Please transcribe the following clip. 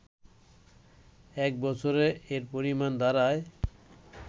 এক বছরে এর পরিমাণ দাড়ায়